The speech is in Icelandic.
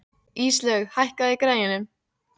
Íslaug, hækkaðu í græjunum.